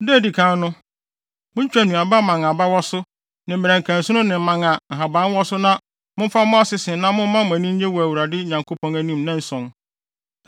Da a edi kan no, muntwitwa nnuaba mman a aba wɔ so, ne mmerɛnkɛnsono ne mman a nhaban wɔ so na momfa mmɔ asese na momma mo ani nnye wɔ mo Awurade Nyankopɔn anim nnanson.